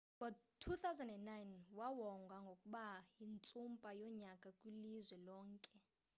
ngo-2009 wawongwa ngokuba yintsumpa yonyaka kwilizwe lonke